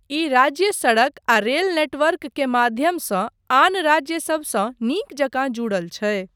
ई राज्य सड़क आ रेल नेटवर्क के माध्यमसँ आन राज्यसबसँ नीक जकाँ जुड़ल छै।